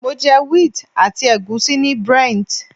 Mo jẹ wheat àti ègúsí ní Brent.